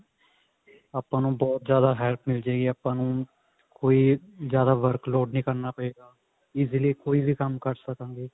ਆਪਾਂ ਨੂੰ ਬਹੁਤ ਜਿਆਦਾ help ਮਿਲ੍ਜੇਗਾ ਆਪਾਂ ਨੂੰ ਕੋਈ ਜਿਆਦਾ work load ਨੀ ਕਰਨਾ ਪਵੇਗਾ easily ਕੋਈ ਵੀ ਕੰਮ ਕਰ ਸਕਾਂਗੇ